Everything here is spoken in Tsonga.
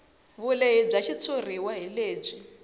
vulehi bya xitshuriwa hi lebyi